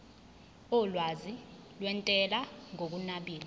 olwazi lwentela ngokunabile